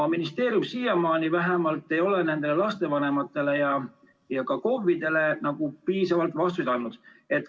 Ministeerium vähemalt siiamaani ei ole nendele lastevanematele ega ka KOV-idele piisavalt vastuseid andnud.